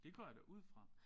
Det går jeg da ud fra